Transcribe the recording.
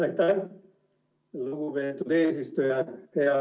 Aitäh, lugupeetud eesistuja!